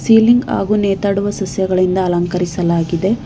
Tiling ಹಾಗು ಮಾತಾಡುವ ಸಸ್ಯಗಳಿಂದ ಅಲಂಕರಿಸಲಾಗಿದೆ.